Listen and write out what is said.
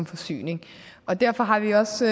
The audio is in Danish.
forsyning derfor har vi også